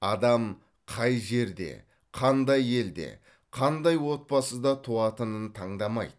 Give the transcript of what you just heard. адам қай жерде қандай елде қандай отбасыда туатынын таңдамайды